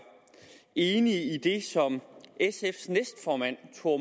enig i det som sfs næstformand thor